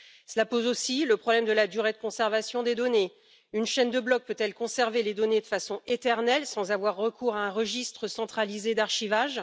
Cela pose aussi le problème de la durée de conservation des données une chaîne de blocs peut elle conserver les données de façon éternelle sans avoir recours à un registre centralisé d'archivage?